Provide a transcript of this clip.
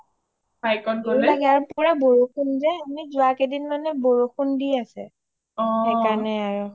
ভয়ও লাগে আৰু পুৰা বৰষুণ যে আৰু আমি যোৱা কেইদিন যে বৰষুণ দি আছে অ সেই কাৰণে আৰু